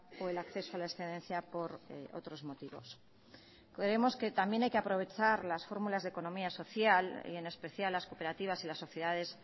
o el acceso a la excedencia por otros motivos creemos que también hay que aprovechar las fórmulas de economía social y en especial las cooperativas y las sociedades